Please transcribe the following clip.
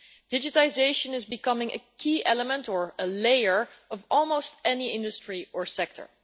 Digitisation is becoming a key element or a layer of almost every industry or sector.